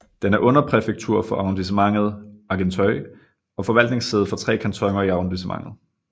Den er underpræfektur for Arrondissementet Argenteuil og forvaltningssæde for tre kantoner i arrondissementet